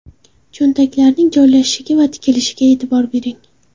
Cho‘ntaklarining joylashishiga va tikilishiga e’tibor bering.